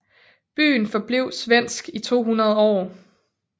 Byen forblev svensk i 200 år